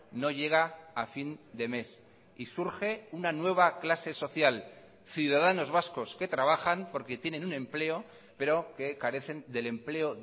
no llega a fin de mes y surge una nueva clase social ciudadanos vascos que trabajan porque tienen un empleo pero que carecen del empleo